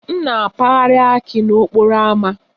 M na-apagharị akị n'okporo ámá